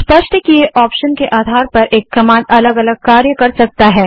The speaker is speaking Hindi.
स्पष्ट किए ऑप्शन के आधार पर एक कमांड अलग अलग कार्य कर सकती है